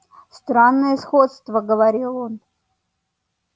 странное сходство говорил он